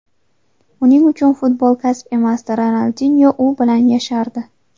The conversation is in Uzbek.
Uning uchun futbol kasb emasdi, Ronaldinyo u bilan yashardi.